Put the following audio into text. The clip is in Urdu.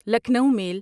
لکنو میل